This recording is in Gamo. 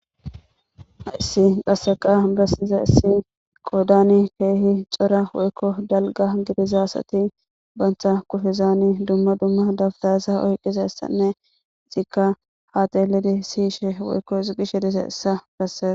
Issi qaseqa bessiza issi qoodani keehi cora woykko dalga gidizaasati bantha kufizani dumma dumma dabtayasa oyqiza issanne izikka haatelidi siyishe woykko isigishe disa issa besseza